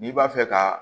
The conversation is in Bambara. N'i b'a fɛ ka